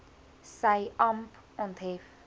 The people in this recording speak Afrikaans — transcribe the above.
sy amp onthef